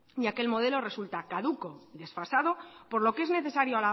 ya que el modelo resulta caduca desfasado por lo que es necesario